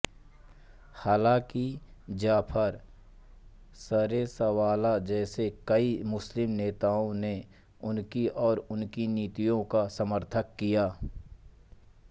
हालाँकि जफर सरेशवाला जैसे कई मुस्लिम नेताओं ने उनकी और उनकी नीतियों का समर्थन किया